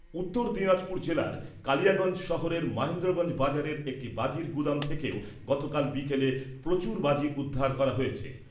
উত্তর দিনাজপুর জেলার কালিয়াগঞ্জ শহরের মহেন্দ্রগঞ্জ বাজারের একটি বাজির গুদাম থেকেও গতকাল বিকেলে প্রচুর বাজি উদ্ধার করা হয়েছে।